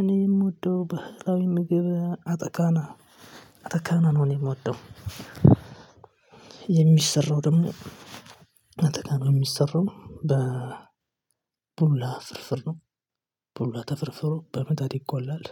እኔ የምወደው ባህላዊ ምግብ አተካና አተካና ነው። እኔ እምወደው የሚሰራው ደግሞ አተካና እሚሰራው በ ቡላ ፍርፍር ነው። ቡላ ተፈርፍሮ በምጣድ ይቆላል